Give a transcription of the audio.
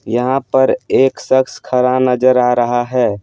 यहाँ पर एक शख्स खड़ा नजर आ रहा है।